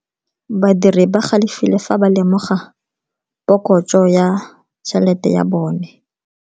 Badiri ba galefile fa ba lemoga phokotso ya tšhelete ya bone.